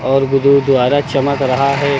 और गुरुद्वारा चमक रहा है।